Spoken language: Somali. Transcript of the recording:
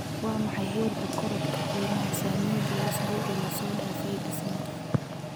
Waa maxay heerka korodhka qiimaha saamiyada ee usbuucii la soo dhaafay Disney